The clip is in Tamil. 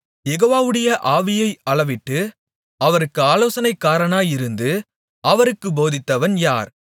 யெகோவாவுடைய ஆவியை அளவிட்டு அவருக்கு ஆலோசனைக்காரனாயிருந்து அவருக்குப் போதித்தவன் யார்